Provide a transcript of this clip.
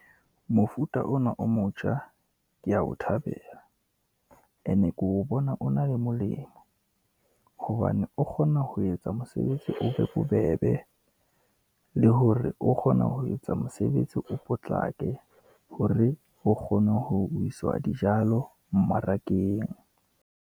Mofuta ona o motjha ke ya o thabela, ene, ke o bona o na le molemo hobane o kgona ho etsa mosebetsi o be o bobebe, le hore o kgona ho etsa mosebetsi o potlake, hore ho kgone ho iswa dijalo mmarakeng.